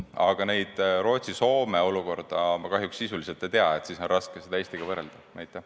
Aga Rootsi ja Soome olukorda ma kahjuks sisuliselt ei tea ja nii on mul raske seda Eesti olukorraga võrrelda.